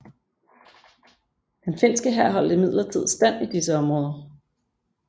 Den finske hær holdt imidlertid stand i disse områder